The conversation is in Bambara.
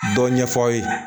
Dɔ ɲɛfɔ aw ye